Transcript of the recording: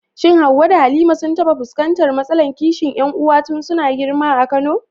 Shin Hawwa da Halima sun taɓa fuskantar matsalar kishin ƴan uwa tun suna girma a Kano?